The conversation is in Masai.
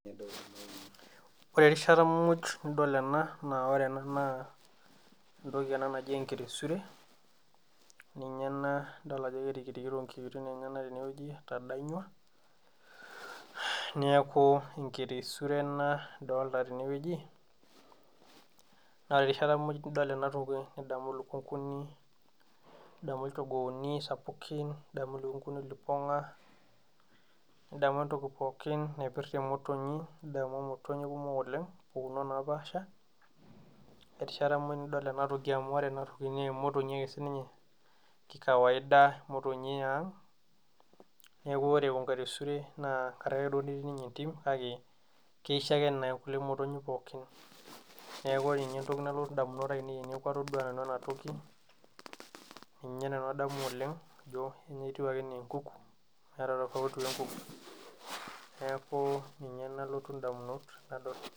ore erishata muj nidol ena naa ore ena naa entoki ena naji enkelesure ninye ena nidol ajo kerikirikito inkiiting` enyenak teneweji etadanyua neeku enkelesure ena nidolta tene weji naa ore erishata muj nidol ena toki nidamu ilukunguni nidamu ichogooni sapukin nidamu ilukunguni lipong`a nidamu entoki pookin naipirta emotonyi nidamu imotonyik kumok oleng` mpukunot naapasha erisha mooj nidol ena toki amu ore ena toki naa emotonyi sininye kei kawaida emotonyi ee ang` nekuu oree enkelesure naa tenkaraki duo ake nametiii niinye entim kake keish ake emotonyi pookin neeku ore nyee entoki nalotu indamunot ainei teneeku atodua nanu ena toki ninye nanu adamu oleng` aijo etiu ake enaa enkuku meeta tofauti wee enkuku neeku ninye nalotu indamunot.